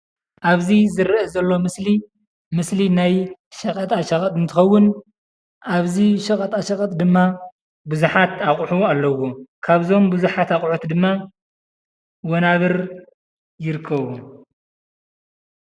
ኣብዚ ዝረአ ዘሎ ምስሊ ምስሊ ናይ ሸቐጣሸቐጥ እንትኸውን ኣብዚ ሸቐጣሸቐጥ ድማ ብዙሓት ኣቕሑ ኣለውዎም፡፡ ካብዞም ብዙሓት ኣቑሑት ድማ ወናብር ይርከብዎም፡፡